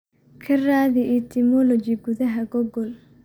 ka raadi etymology gudaha google